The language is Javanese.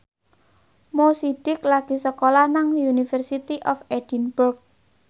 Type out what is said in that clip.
Mo Sidik lagi sekolah nang University of Edinburgh